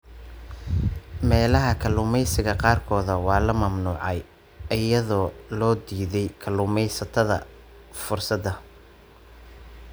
Meelaha kalluumeysiga qaarkood waa la mamnuucay, iyadoo loo diiday kalluumeysatada fursadda.